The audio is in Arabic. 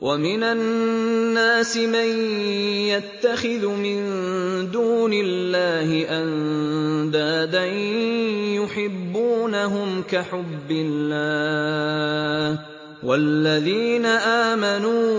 وَمِنَ النَّاسِ مَن يَتَّخِذُ مِن دُونِ اللَّهِ أَندَادًا يُحِبُّونَهُمْ كَحُبِّ اللَّهِ ۖ وَالَّذِينَ آمَنُوا